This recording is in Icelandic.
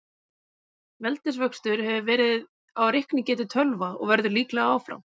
Veldisvöxtur hefur verið á reiknigetu tölva og verður líklega áfram.